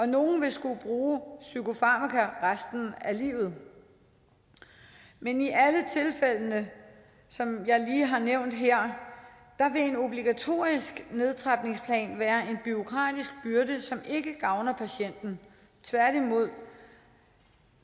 nogle vil skulle bruge psykofarmaka resten af livet men i alle tilfældene som jeg lige har nævnt her vil en obligatorisk nedtrapningsplan være en bureaukratisk byrde som ikke gavner patienten tværtimod